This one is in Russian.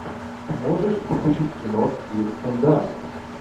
можешь включить кино с кирстен данст